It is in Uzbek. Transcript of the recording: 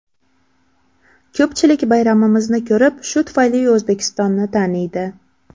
Ko‘pchilik bayramimizni ko‘rib, shu tufayli O‘zbekistonni taniydi.